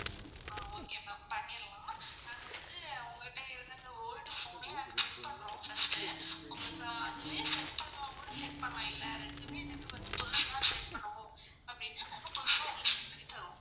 ஆஹ் okay ma'am பண்ணிரலாம். நாங்க வந்து உங்ககிட்ட இருந்து அந்த old phone ன check பண்றோம் first. உங்களுக்கு அதுவே set பண்ணனுன்னா கூட set பண்லாம். இல்ல ரெண்டுமே எனக்கு வந்து புதுசு தான் set பண்ணனும் அப்படினா நாங்க புதுசா உங்களுக்கு set பண்ணி தருவோம்.